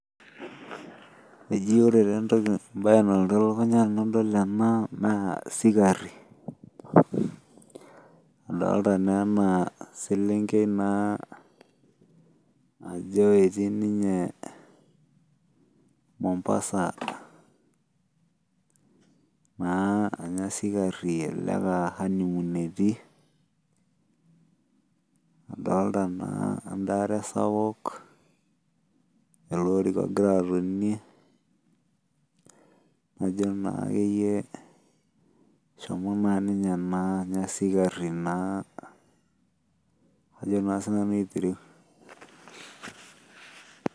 Eji ore enatoki embae nalotu elukunya enadol ena naa sikarri. Adolita naa ena selenkei naa ajo etii ninye Mombasa naa anya sikarri elelek aa honeymoon etii. Adolita naa enkare sapuk, ele orika ogira atonie najo naa akeyie eshomo naa ninye ena anya sikarri naa ajo naa siinanu aitereu